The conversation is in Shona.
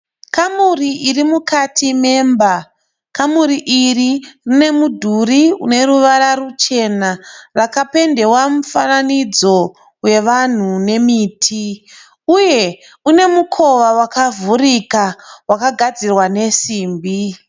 Kamuri iri mukati memba, kamuri iri rine mudhuri une ruvara ruchena rakapendewa mufananidzo wevanhu nemiti, uye une mukova wakavhurika wakagadzirwa nesimbi.